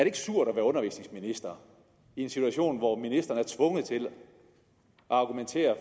ikke surt at være undervisningsminister i en situation hvor ministeren er tvunget til at argumentere